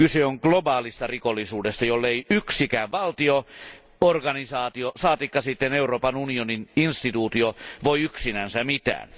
Kyse on globaalista rikollisuudesta, jolle ei yksikään valtio, organisaatio, saatikka sitten Euroopan unionin toimielin voi yksinänsä mitään.